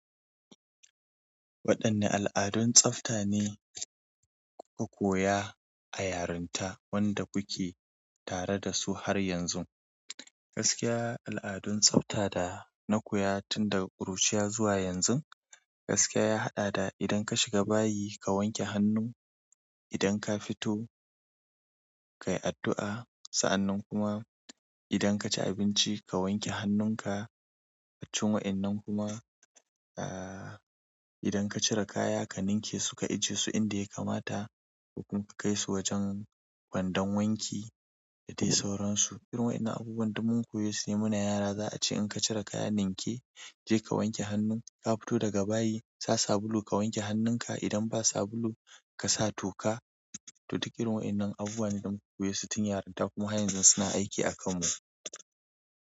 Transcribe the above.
Waɗanne al'adun tsafta ne kuka koya a yarinta wanda kuke tare da su har yanzu? Gaskiya al'adun tsafta da na koya tun daga ƙuruciya zuwa yanzu, gaskiya ya haɗa da idan ka shiga bayi ka wanke hannu, idan ka fito kai addu'a. Gaskiya al'adun tsafta da na koya tun daga ƙuruciya zuwa yanzu, gaskiya ya haɗa da idan ka shiga bayi ka wanke hannu, idan ka fito kai addu'a. A cikin wa'inan kuma, ah, idan ka cire kaya ka ninke su ka ajiye su inda ya kamata ko kuma ka kai su wajen kwandon wanki da dai sauransu. Irin wa'inan abubuwan da mun koyo sune muna yara za a ce idan ka cire kaya ninke, je ka wanke hannu. Ka fito daga bayi, sa sabulu ka wanke hannunka. Idan ba sabulu, ka sa toka. To, duk irin wa'inan abubuwa ne da mun koyo su tun yarinta kuma har yanzu suna aiki a kanmu.